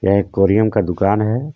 यहां एक कोरियम का दुकान है।